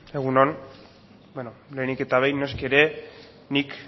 egun on beno lehenik eta behin noski ere nik